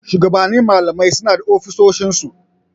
Shugabannin malamai suna da ofisoshin su.